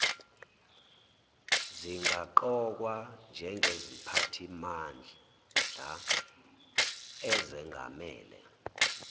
zingaqokwa njengeziphathimandla ezengamele